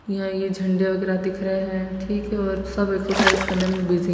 यहाँ ये झंडे वगैरा दिख रहे है ठीक है और सब एक्सरसाइज करने में बिजी --